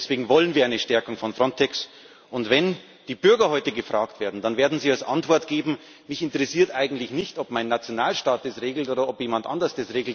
Deswegen wollen wir eine Stärkung von Frontex. Und wenn die Bürger heute gefragt werden, dann werden sie als Antwort geben Mich interessiert eigentlich nicht, ob das mein Nationalstaat regelt oder jemand anders.